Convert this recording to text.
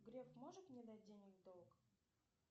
греф может мне дать денег в долг